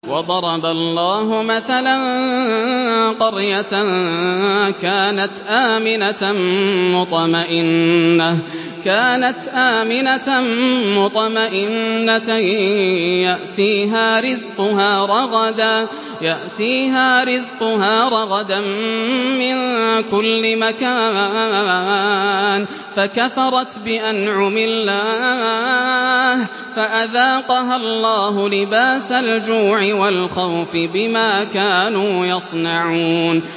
وَضَرَبَ اللَّهُ مَثَلًا قَرْيَةً كَانَتْ آمِنَةً مُّطْمَئِنَّةً يَأْتِيهَا رِزْقُهَا رَغَدًا مِّن كُلِّ مَكَانٍ فَكَفَرَتْ بِأَنْعُمِ اللَّهِ فَأَذَاقَهَا اللَّهُ لِبَاسَ الْجُوعِ وَالْخَوْفِ بِمَا كَانُوا يَصْنَعُونَ